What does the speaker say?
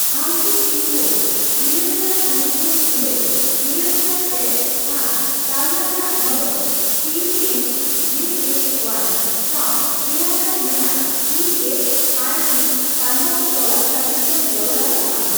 ᱟᱢ ᱠᱤ pin code ᱤᱨᱟᱹᱞ ᱥᱟᱭ ᱛᱩᱨᱩᱭᱜᱮᱞ ᱤᱨᱟᱹᱞ ,ᱤᱨᱟᱹᱞ ᱥᱟᱭ ᱯᱮ ᱟᱨ ᱛᱟᱞᱢᱟ ᱨᱮᱱᱟᱜ ᱫᱷᱚᱨᱚᱱ ᱯᱤᱮᱢᱡᱮᱮᱣᱟᱭ ᱥᱟᱣ ᱮᱞᱟᱠᱟᱨᱮ ᱢᱮᱱᱟᱜ ᱮ ᱮᱥ ᱟᱭ ᱥᱤ ᱛᱟᱞᱢᱟ ᱠᱚ ᱛᱚᱞᱟᱥ ᱞᱟᱹᱜᱤᱫ ᱛᱮᱢ ᱜᱚᱲᱚ ᱫᱟᱲᱮᱭᱟᱜᱼᱟ ?